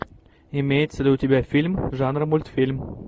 имеется ли у тебя фильм жанра мультфильм